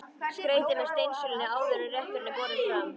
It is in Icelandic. Skreytið með steinseljunni áður en rétturinn er borinn fram.